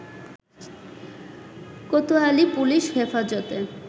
Kotwali police Hefazate